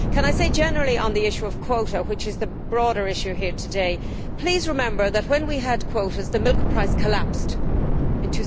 Can I say generally, on the issue of quotas which is the broader issue here today please remember that when we had quotas, the milk price collapsed in